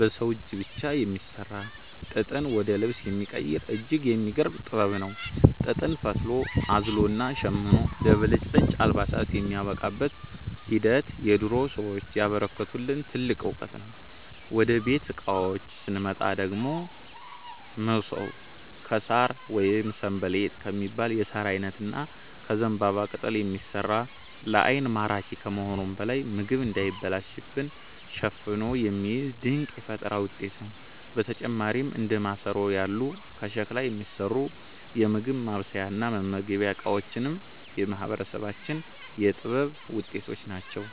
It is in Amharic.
በሰው እጅ ብቻ የሚሠራ፣ ጥጥን ወደ ልብስ የሚቀይር እጅግ የሚገርም ጥበብ ነው። ጥጥን ፈትሎ፣ አዝሎና ሸምኖ ለብልጭልጭ አልባሳት የሚያበቃበት ሂደት የድሮ ሰዎች ያበረከቱልን ትልቅ ዕውቀት ነው። ወደ ቤት ዕቃዎች ስንመጣ ደግሞ፣ መሶብ ከሣር ወይም 'ሰንበሌጥ' ከሚባል የሣር ዓይነት እና ከዘንባባ ቅጠል የሚሠራ፣ ለዓይን ማራኪ ከመሆኑም በላይ ምግብ እንዳይበላሽ አፍኖ የሚይዝ ድንቅ የፈጠራ ውጤት ነው። በተጨማሪም እንደ ማሰሮ ያሉ ከሸክላ የሚሠሩ የምግብ ማብሰያና መመገቢያ ዕቃዎችም የማህበረሰባችን የጥበብ ውጤቶች ናቸው።